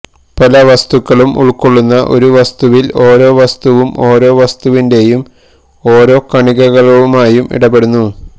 പല വസ്തുക്കളും ഉൾക്കൊള്ളുന്ന ഒരു വസ്തുവിൽ ഓരോ വസ്തുവും ഓരോ വസ്തുവിന്റെയും ഓരോ കണികകളുമായും ഇടപെടുന്നു